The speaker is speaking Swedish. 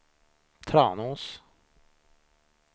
Tranås